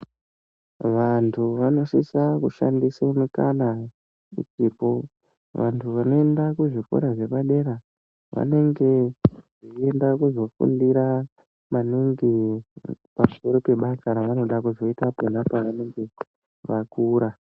Vantu vanosisa kushandisa mukana uchipo, vantu vanoenda kuzvikora zvepadera, vanenge veyida kuzofundira maningi pamusoro pebasa ravanoda kuzoyita pavanenge vakura.